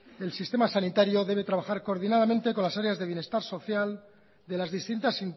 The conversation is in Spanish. el sistema sanitario debe trabajar coordinadamente con las áreas de bienestar social de las distintas